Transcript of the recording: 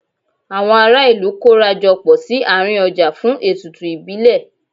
Àwọn ará ìlú kóra jọ pọ̀ sí àárín ọjà fún ètùtù ìbílẹ̀.